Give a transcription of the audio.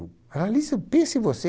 Ah ali Pense você.